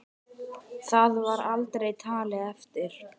Það var aldrei talið eftir.